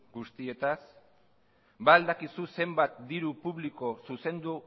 guztietaz ba al dakizu zenbat diru publiko zuzendu